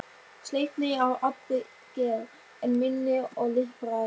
Sleipni að allri gerð, en minni og liprari.